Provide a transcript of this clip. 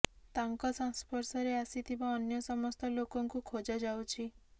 ତାଙ୍କ ସଂସ୍ପର୍ଶରେ ଆସିଥିବା ଅନ୍ୟ ସମସ୍ତ ଲୋକଙ୍କୁ ଖୋଜା ଯାଉଛି